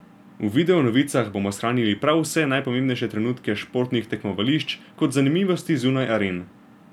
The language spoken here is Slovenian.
V videonovicah bomo shranili prav vse najpomembnejše trenutke s športnih tekmovališč kot zanimivosti zunaj aren.